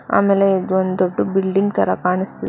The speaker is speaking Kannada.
ಆಮೇಲೆ ಇದು ಒಂದ್ ದೊಡ್ಡ ಬಿಲ್ಡಿಂಗ್ ತರ ಕಾಣಸ್ತಿ--